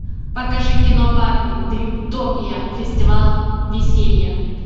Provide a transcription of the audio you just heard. покажи кино барби дримтопия фестиваль веселья